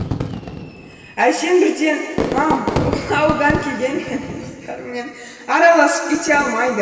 әрсен бірден мам ол ауылдан келген менің достарыммен араласып кете алмайды